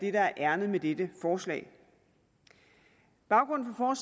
er ærindet med dette forslag baggrunden for